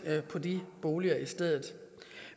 på de boliger i stedet